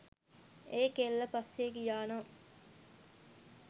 ඒ කෙල්ල පස්සේ ගියා නම්